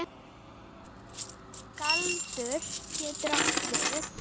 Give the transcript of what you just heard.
Galdur getur átt við